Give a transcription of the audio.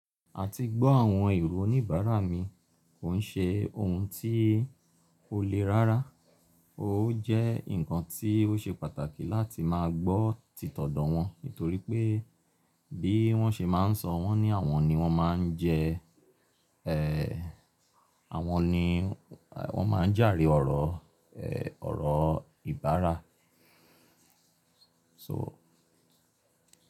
Àti gbọ́ àwọn èrò oníbàárà mi kò ṣe ohun tí kò le rárá. Ó jẹ́ ǹkan tí ó ṣe pàtàkì láti máa gbọ́ títọ̀dọ̀ wọn nítorí pé bí wọ́n ṣe máa n sọ wọn ní àwọn ni wọ́n máa n jẹ, ẹ́ àwọn ni wọ́n má n jàre ọ̀rọ̀, ẹ́ ọ̀rọ̀ ìbára. So.